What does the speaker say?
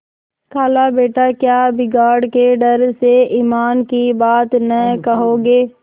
खालाबेटा क्या बिगाड़ के डर से ईमान की बात न कहोगे